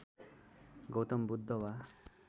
गौतम बुद्ध वा